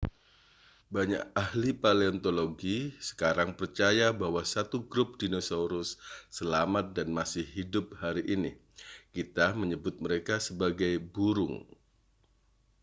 banyak ahli paleontologi sekarang percaya bahwa 1 grup dinosaurus selamat dan masih hidup hari ini kita menyebut mereka sebagai burung